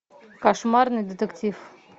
кошмарный детектив